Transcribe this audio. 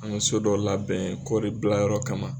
An mɛ so dɔ labɛn kɔri bilayɔrɔ kama